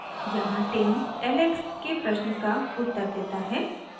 यहाँ tim alex के प्रश्न का उत्तर देता है